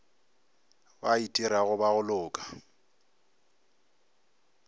ba itirago ba go loka